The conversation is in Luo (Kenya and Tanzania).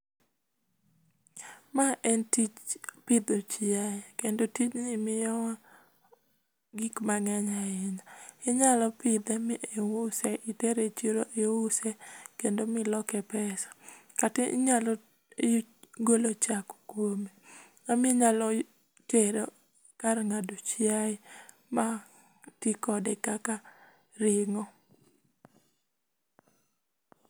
Ma en tij pidho chiaye kendo tijni miyowa gik mang'eny ahinya. Inyalo pidhe miuse, itere e chiro iuse, kendo miloke pesa. Kata inyalo golo chak kuome. Ama inyalo tere kar ng'ado chiaye ma ti kode kaka ring'o.